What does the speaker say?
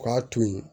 K'a to yen